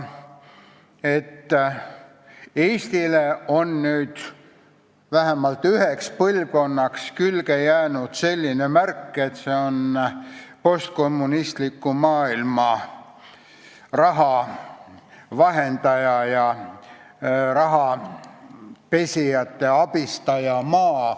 Eestile on vähemalt üheks põlvkonnaks külge jäänud märk, et see on postkommunistliku maailma raha vahendaja ja rahapesijaid abistav maa.